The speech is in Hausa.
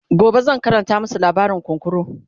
gobe zan Karanta masu labarin kunkuru